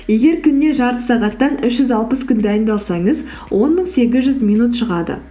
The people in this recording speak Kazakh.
егер күніне жарты сағаттан үш жүз алпыс күн дайындалсаңыз он мың сегіз жүз минут шығады